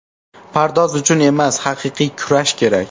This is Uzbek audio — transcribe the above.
Pardoz uchun emas, haqiqiy kurash kerak.